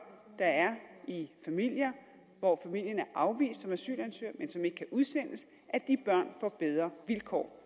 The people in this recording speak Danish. der er i familier hvor familien er afvist som asylansøger men som ikke kan udsendes får bedre vilkår